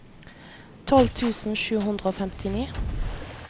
tolv tusen sju hundre og femtini